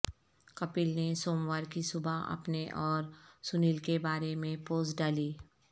کپل نے سوموار کی صبح اپنے اور سنیل کے بارے میں پوسٹ ڈالی